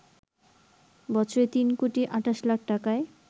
বছরে তিন কোটি ২৮ লাখ টাকায়